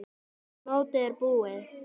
Mótið búið?